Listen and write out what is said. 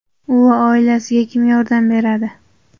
U va oilasiga kim yordam beradi?.